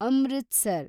Amritsar